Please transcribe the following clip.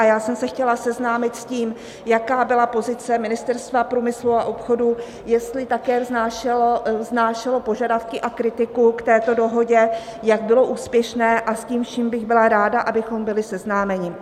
A já jsem se chtěla seznámit s tím, jaká byla pozice Ministerstva průmyslu a obchodu, jestli také vznášelo požadavky a kritiku k této dohodě, jak bylo úspěšné, a s tím vším bych byla ráda, abychom byli seznámeni.